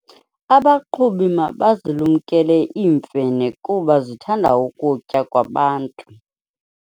Abaqhubi mabazilumkele iimfene kuba zithanda ukutya kwabantu.